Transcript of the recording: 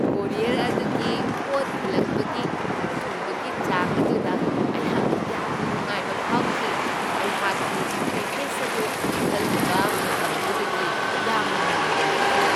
Courier ꯑꯗꯨꯒꯤ ꯄꯣꯠ ꯊꯤꯜꯂꯛꯄꯒꯤ ꯊꯨꯕꯒꯤ ꯆꯥꯡ ꯑꯗꯨꯗ ꯑꯩꯍꯥꯛꯅ ꯌꯥꯝꯅ ꯅꯨꯡꯉꯥꯏꯕ ꯐꯥꯎꯈꯤ ꯫ ꯑꯩꯍꯥꯛꯀꯤ ꯄꯦꯀꯦꯖ ꯑꯗꯨ ꯈꯜꯂꯨꯕ ꯃꯇꯝꯗꯨꯗꯒꯤ ꯌꯥꯝꯅ ꯉꯟꯅ ꯌꯧꯔꯛꯈꯤ ꯫